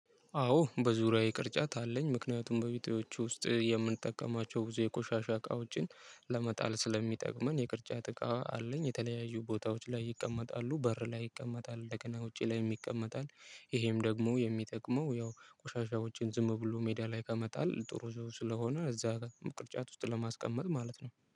አዎ በዙሪያዬ ቅርጫት አለኝ ምክንያቱም በቤቴ ውስጥ የምንጠቀማቸው ብዙ የቆሻሻ እቃዎችን ለመጣል ስለሚጠቅመን የቅርጫት እቃ አለኝ የተለያዩ ቦታዎች ላይ ይቀመጣሉ በር ላይ ይቀመጣል፣ እንደገና ውጪ ላይም ይቀመጣል። ይሄም ደግሞ የሚጠቅመው ያው ቆሻሻ ውጪን ዝም ብሎ ሜዳ ላይ ከመጣል ጥሩ ዝም ስለሆነ እዛ ቅርጫት ውስጥ ለማስቀመጥ ማለት ነው